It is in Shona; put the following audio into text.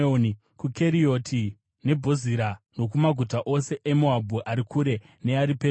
kuKerioti neBhozira, nokumaguta ose eMoabhu ari kure neari pedyo.